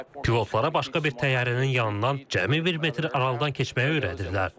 Pilotlara başqa bir təyyarənin yanından cəmi bir metr aralıdan keçməyi öyrədirlər.